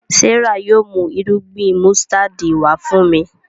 Serah yóò mú Irúgbìn músítádì wá fún mí.